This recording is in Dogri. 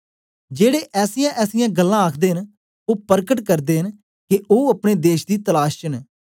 जेड़े ऐसीयांऐसीयां गल्लां आखदे न ओ परकट करदे न के ओ अपने देश दी तलाश च न